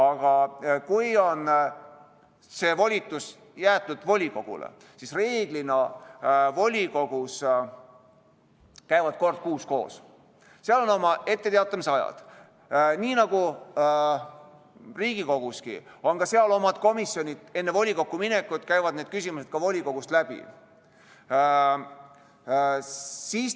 Aga kui see volitus on jäetud volikogule, siis reeglina käib volikogu koos kord kuus, seal on oma etteteatamise ajad, nii nagu Riigikoguski on ka seal omad komisjonid, enne volikokku minekut käivad need küsimused ka volikogust läbi.